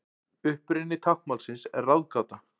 Uppruni táknmálsins er ráðgáta.